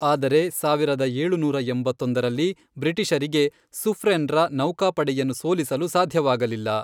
ಆದರೆ ಸಾವಿರದ ಏಳುನೂರ ಎಂಬತ್ತೊಂದರಲ್ಲಿ ಬ್ರಿಟಿಷರಿಗೆ ಸುಫ್ರೆನ್ರ ನೌಕಾಪಡೆಯನ್ನು ಸೋಲಿಸಲು ಸಾಧ್ಯವಾಗಲಿಲ್ಲ.